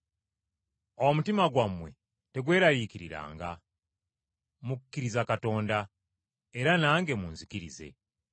“Omutima gwammwe tegweraliikiriranga. Mukkiriza Katonda, era nange munzikirize.